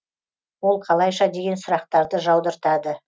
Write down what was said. ол қалайша деген сұрақтарды жаудыртады